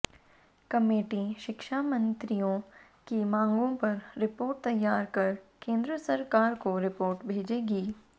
committee शिक्षा मित्रों की मांगों पर रिपोर्ट तैयार कर केन्द्र सरकार को रिपोर्ट भेजेगी